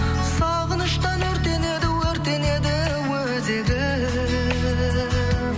сағыныштан өртенеді өртенеді өзегім